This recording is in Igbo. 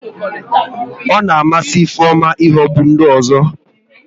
Ọ na amasị Ifeoma ihogbu ndị ọzọ